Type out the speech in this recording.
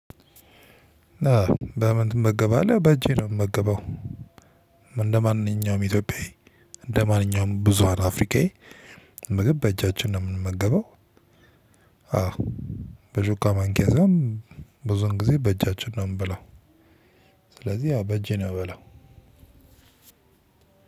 በምን ትመገባለህ? በእጄ ነው የምመገበው። እንደማንኛውም ኢትዮጵያዊ እንደማንኛውም ብዙሀን አፍሪካዊ ምግብ በእጃችን ነው የምንመገበው። አዎ በሹካማንኪያ ሳይሆኖ ብዙን ጊዜ በእጃችን ነው የምበላው። ስለዚህ ያው በእጄ ነው የምበላው።